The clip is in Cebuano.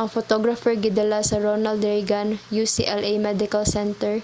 ang photographer gidala sa ronald reagan ucla medical center